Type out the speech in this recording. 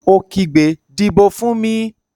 Ó kígbe, "Dìbò fún mi!"